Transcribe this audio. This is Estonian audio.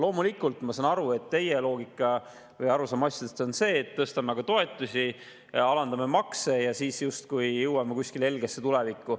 Loomulikult ma saan aru, et teie loogika või arusaam asjadest on see, et tõstame aga toetusi, alandame makse ja siis justkui jõuame kuskile helgesse tulevikku.